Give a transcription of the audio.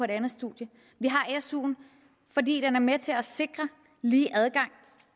det andet studie vi har suen fordi den er med til at sikre lige adgang